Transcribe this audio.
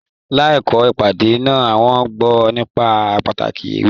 L'akoko ìpàdé náà, wọn gbọ nípa pàtàkì ewé.